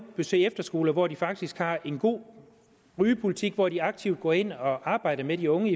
besøge efterskoler hvor de faktisk har en god rygepolitik hvor de aktivt går ind og arbejder med de unge